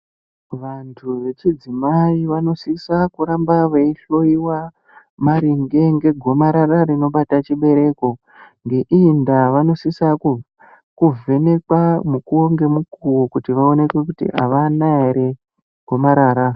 Vantu vechidzimai vanositsa kuramba vaihloyiwa maringe negomarara rinobate chibereko .Ngeiyi ndaa vanositsa kuramba vaivhenekwa mukuwo ngemukuwo kuti vaonekwe kuti avana ere gomarara .